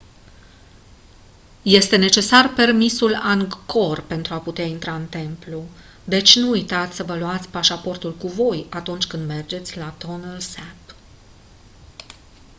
este necesar permisul angkor pentru a putea intra în templu deci nu uitați să vă luați pașaportul cu voi atunci când mergeți la tonle sap